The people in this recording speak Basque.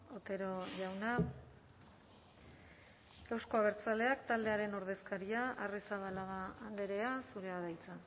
otero jauna euzko abertzaleak taldearen ordezkaria arrizabalaga andrea zurea da hitza